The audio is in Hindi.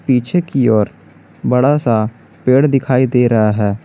पीछे की ओर बड़ा सा पेड़ दिखाई दे रहा है।